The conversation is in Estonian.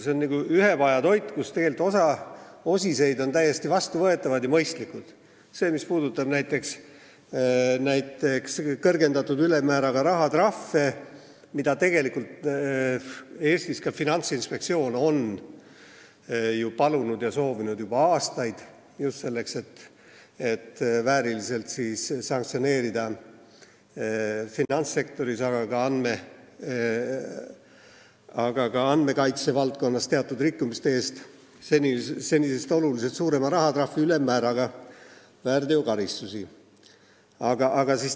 See on nagu ühepajatoit, kus mõned osised on täiesti vastuvõetavad ja mõistlikud: näiteks see, mis puudutab näiteks kõrgendatud ülemmääraga rahatrahve, mida tegelikult Finantsinspektsioon on ju soovinud juba aastaid, just selleks, et finantssektoris, aga ka andmekaitse valdkonnas teatud väärtegude eest saaks määrata senisest oluliselt suurema ülemmääraga rahatrahve.